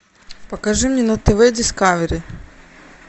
покажи мне на тв дискавери